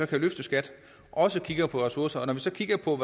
kan løfte skat og også kigger på ressourcer og når vi så kigger på